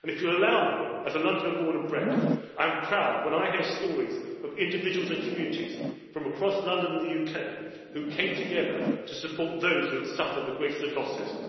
And if you will allow me, as a Londoner born and bred, I am proud when I hear stories of individuals and communities from across London and the UK who came together to support those who had suffered the greatest of losses.